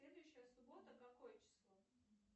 следующая суббота какое число